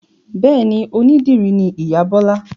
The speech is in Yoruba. Bẹ́ẹ̀ni, onídìrí ni ìyá Bọ́la